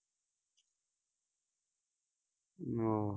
ਆਹ